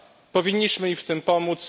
Powinniśmy im w tym pomóc.